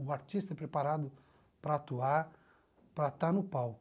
O artista é preparado para atuar, para estar no palco.